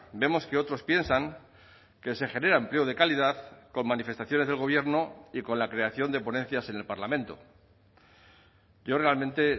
vemos que otros piensan que se genera empleo de calidad con manifestaciones del gobierno y con la creación de ponencias en el parlamento yo realmente